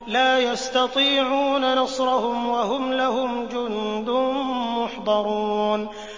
لَا يَسْتَطِيعُونَ نَصْرَهُمْ وَهُمْ لَهُمْ جُندٌ مُّحْضَرُونَ